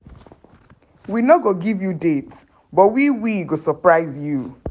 we no go give you date but we we go surprise you."